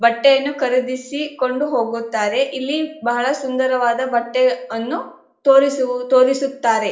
ಬಟ್ಟೆಯನ್ನು ಖರೀದಿಸಿ ಕೊಂಡು ಹೋಗುತ್ತಾರೆ ಇಲ್ಲಿ ಬಹಳ ಸುಂದರವಾಗಿ ಬಟ್ಟೆಯನ್ನು ತೋರಿಸು ತೋರಿಸುತ್ತಾರೆ.